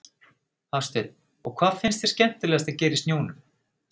Hafsteinn: Og hvað finnst þér skemmtilegast að gera í snjónum?